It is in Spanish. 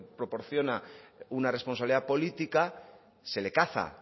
proporciona una responsabilidad política se le caza